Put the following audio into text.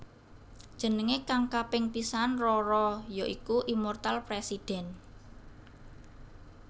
Jenengé kang kaping pisan RoRo ya iku Immortal President